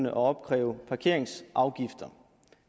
at opkræve parkeringsafgifter